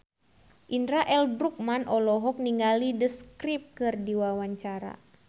Indra L. Bruggman olohok ningali The Script keur diwawancara